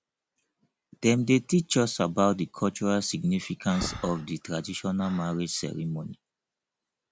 dem dey teach us about di cultural significance of di traditional marriage ceremony